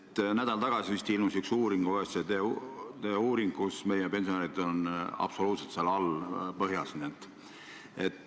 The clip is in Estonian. Vist nädal tagasi ilmusid ühe OECD uuringu tulemused, mille järgi meie pensionärid on absoluutses põhjas.